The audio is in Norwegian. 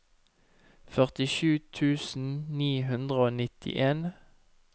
førtisju tusen ni hundre og nittien